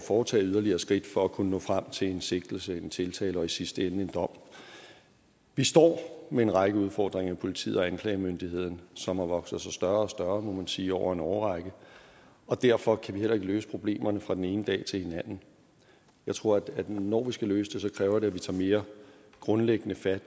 foretage yderligere skridt for at kunne nå frem til en sigtelse en tiltale og i sidste ende en dom vi står med en række udfordringer i politiet og anklagemyndigheden som har vokset sig større og større må man sige over en årrække og derfor kan vi heller ikke løse problemerne fra den ene dag til den anden jeg tror at når vi skal løse det kræver det at vi tager mere grundlæggende fat og